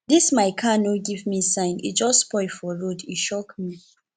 dis my car no give me sign e just spoil for road e shock me